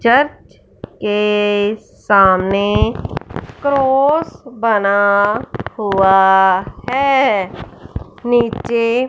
church के सामने cross बना हुआ है नीचे--